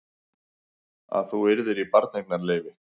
Að þú yrðir í barneignarleyfi.